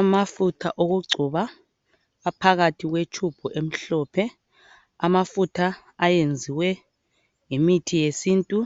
Amafutha okugcoba aphakathi kwe tube emhlophe amafutha ayenziwe ngemithi yesintu